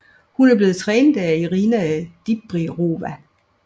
Hun er blevet trænet af Irina Dibirova